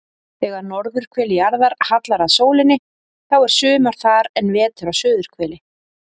Þegar norðurhvel jarðar hallar að sólinni þá er sumar þar en vetur á suðurhveli.